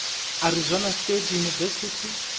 arizona state university